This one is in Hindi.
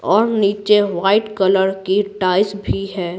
और नीचे वाइट कलर की टाइस भी है।